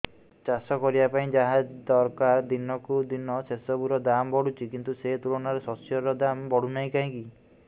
ଚାଷ କରିବା ପାଇଁ ଯାହା ଦରକାର ଦିନକୁ ଦିନ ସେସବୁ ର ଦାମ୍ ବଢୁଛି କିନ୍ତୁ ସେ ତୁଳନାରେ ଶସ୍ୟର ଦାମ୍ ବଢୁନାହିଁ କାହିଁକି